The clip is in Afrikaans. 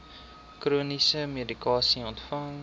chroniese medikasie ontvang